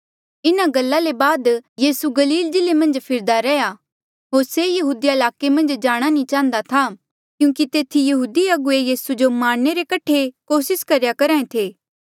इन्हा गल्ला ले बाद यीसू गलील जिल्ले मन्झा फिरदा रैहया होर से यहूदिया ईलाके मन्झ जाणा नी चाहन्दा था क्यूंकि तेथी यहूदी अगुवे यीसू जो मारणे रे कठे कोसिस करेया करहा ऐें थे